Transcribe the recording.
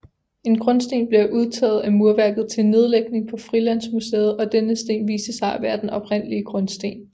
En grundsten blev udtaget af murværket til nedlægning på Frilandsmuseet og denne sten viste sig at være den oprindelige grundsten